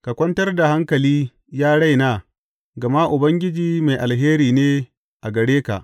Ka kwantar da hankali, ya raina, gama Ubangiji mai alheri ne a gare ka.